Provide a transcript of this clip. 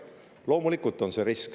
Loomulikult on see risk.